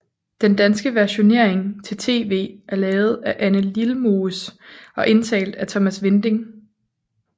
Den danske versionering til TV er lavet af Anne Lilmoes og indtalt af Thomas Winding